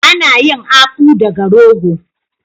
Ana yin Akpu daga rogo.